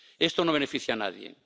Esto no beneficia a nadie.